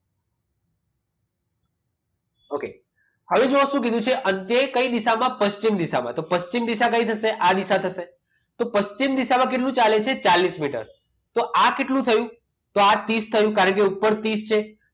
okay હવે જુઓ શું કીધું છે અંતે કઈ દિશામાં પશ્ચિમ દિશામાં તો પશ્ચિમ દિશા કઈ થશે આ દિશા થશે તો પશ્ચિમ દિશામાં કેટલું ચાલે છે ચાલીસ મીટર તો આ કેટલું થયું? તો આ ત્રીસ થયું કારણ કે ઉપર ત્રીસ છે.